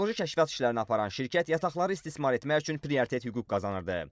Geoloji kəşfiyyat işlərini aparan şirkət yataqları istismar etmək üçün prioritet hüquq qazanırdı.